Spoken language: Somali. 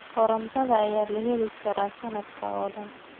Karootada ayaa la heli karaa sanadka oo dhan.